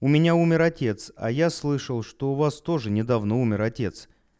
у меня умер отец а я слышал что у вас тоже недавно умер отец